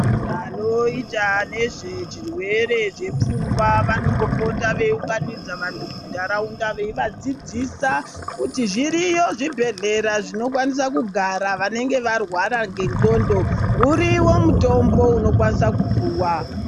Vanoita nezvechirwere zvepfungwa vanombopota veiunganidza vantu munharaunda veiva dzidzisa kuti zviriyo zvibhedhlera zvinokwanisa kugara vanenge varwara ngendxondo. Uriyo mutombo unokwanisa kupuwa.